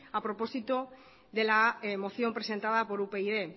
a propósito de la moción presentada por upyd